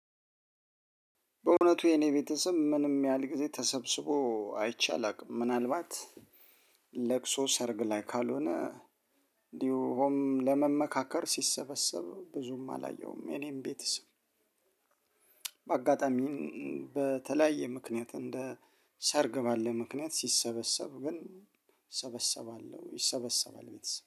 በእውነቱ የኔ ቤተሰብ ምንም ያህል ጊዜ ተሰብስቦ አይቼ አላውቅም። ምናልባት ለቅሶ ሰርግ ላይ ካልሆነ እንዲሁ ሆም ለመመካከር ሲሰበሰብ ብዙም አላየውም የኔም ቤተሰብ። በአጋጣሚም በተለያየ ምክንያት እንደ ሰርግ ባለ ምክንያት ሲሰበሰብ ግን እሰበሰባለሁ። ይሰበሰባል ቤተሰብ